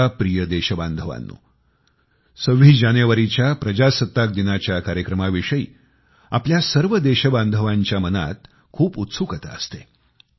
माझ्या प्रिय देशबांधवांनो 26 जानेवारीच्या गणराज्य दिनाच्या कार्यक्रमाविषयी आपल्या सर्व देशबांधवांच्या मनात खूप उत्सुकता असते